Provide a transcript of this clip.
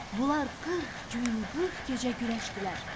Bunlar 40 gün, 40 gecə güləşdilər.